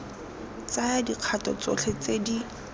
tsaya dikgato tsotlhe tse di